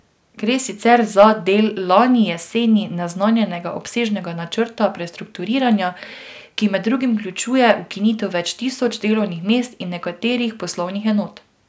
Gre sicer za del lani jeseni naznanjenega obsežnega načrta prestrukturiranja, ki med drugim vključuje ukinitev več tisoč delovnih mest in nekaterih poslovnih enot.